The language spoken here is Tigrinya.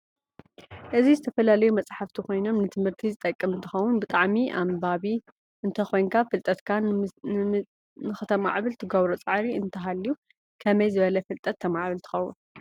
እዚ ዝተፈላላዩ መፃሓፍት ኮይን ንትምህርት ዝጥቅም እንትከውን ብጣዓሚ ኣንባቢ እንተኮይንካ ፍልጠትካ ንክትማዕብል ትገብሮ ፃዕሪ እንታሃልዩ ከመይ ዝበለ ፍልጠት ተማዕብል ትከውን?